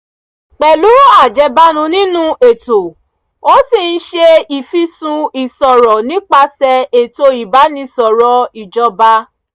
pẹ̀lú ajẹ́bánu nínú ètò ó ṣì ń ṣe ìfìsùn ìṣòro nípasẹ̀ ètò ìbánisọ̀rọ̀ ìjọba